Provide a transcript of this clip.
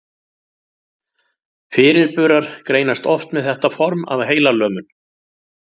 Fyrirburar greinast oft með þetta form af heilalömun.